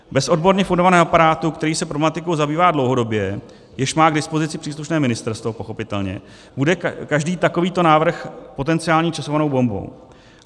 Bez odborně fundovaného aparátu, který se problematikou zabývá dlouhodobě, jejž má k dispozici příslušné ministerstvo, pochopitelně bude každý takovýto návrh potenciální časovanou bombou.